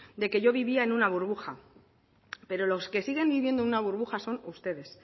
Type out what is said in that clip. de que yo vivía en una burbuja pero los que siguen viviendo en una burbuja son ustedes